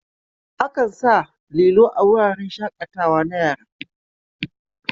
Akan sa lilo a wuraren shaƙatawa na yara.